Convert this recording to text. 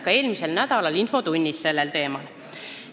Ka eelmise nädala infotunnis oli küsimusi sellel teemal.